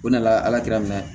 O nana ala k'a mɛn